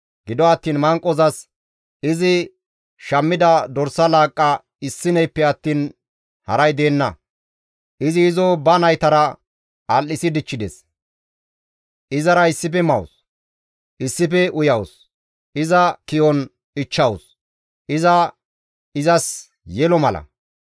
Gido attiin manqozas izi shammida dorsa laaqqa issineyppe attiin haray deenna; izi izo ba naytara al7isi dichchides; izara issife mawus; issife uyawus; iza ki7on ichchawus; iza izas yelo mala.